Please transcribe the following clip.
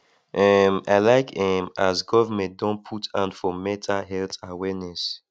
um i like um as government don put hand for mental health awareness